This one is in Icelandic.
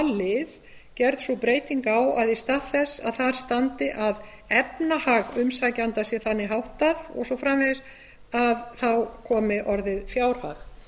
lið gerð sú breyting á að í stað þess að þar standi að efnahag umsækjanda sé þannig háttað og svo framvegis komið orðið fjárhag